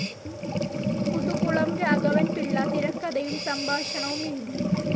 മുതുകുളം രാഘവൻ പിള്ള തിരക്കഥയും സംഭാഷണവും എഴുതി.